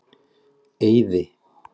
Eiði